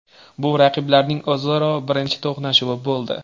Bu raqiblarning o‘zaro birinchi to‘qnashuvi bo‘ldi.